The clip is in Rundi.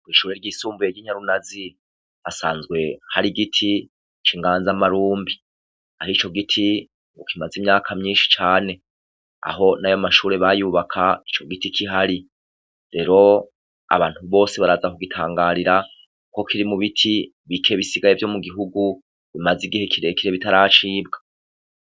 Kw'ishure ryisumbuye ry'inyarunazi hasanzwe hari igiti c'inganza marumbi, kandi ico giti ngo kimaze imyaka myinshi cane, aho nayo mashure bayubaka ico giti kihari, rero abantu bose baraza kugitangarira kuko kiri mubiti bike bisigaye vyo mugihugu bisigaye bitaracibwa.